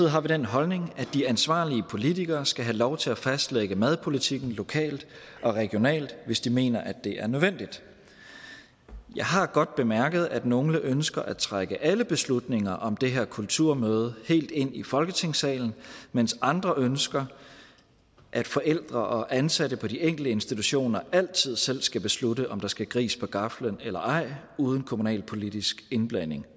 har vi den holdning at de ansvarlige politikere skal have lov til at fastlægge madpolitikken lokalt og regionalt hvis de mener det er nødvendigt jeg har godt bemærket at nogle ønsker at trække alle beslutninger om det her kulturmøde helt ind i folketingssalen mens andre ønsker at forældre og ansatte på de enkelte institutioner altid selv skal beslutte om der skal gris på gaflen eller ej uden kommunal politisk indblanding